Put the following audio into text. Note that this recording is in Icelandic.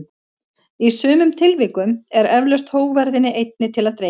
Í sumum tilvikum er eflaust hógværðinni einni til að dreifa.